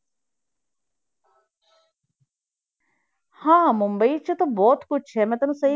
ਹਾਂ ਮੁੰਬਈ 'ਚ ਤਾਂ ਬਹੁਤ ਕੁਛ ਹੈ ਮੈਂ ਤੈਨੂੰ ਸਹੀ